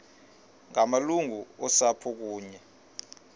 ngamalungu osapho kunye